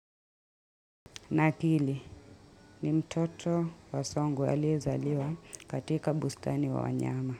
Na akili ni mtoto wa songwe aliyezaliwa katika bustani wa wanyama.